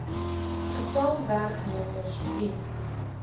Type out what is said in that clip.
getal werknemers wie